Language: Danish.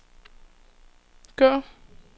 gå